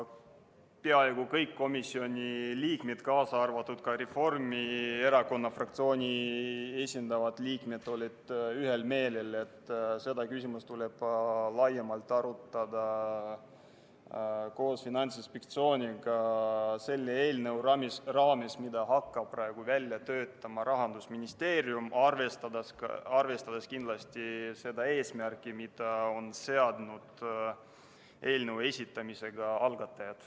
Peaaegu kõik komisjoni liikmed, kaasa arvatud Reformierakonna fraktsiooni esindavad liikmed, olid ühel meelel, et seda küsimust tuleb arutada laiemalt koos Finantsinspektsiooniga selle eelnõu raames, mida hakkab praegu välja töötama Rahandusministeerium, arvestades kindlasti ka seda eesmärki, mille on seadnud eelnõu algatajad.